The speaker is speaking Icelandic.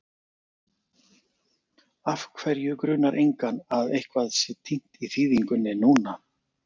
Af hverju grunar engan að eitthvað sé týnt í þýðingunni núna?